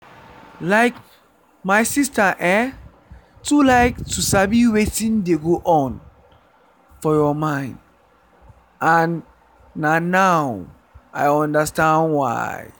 like my sister[um]too like to sabi wetin dey go on for your mind and na now i understand why.